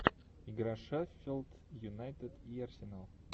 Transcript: игра шеффилд юнайтед и арсенал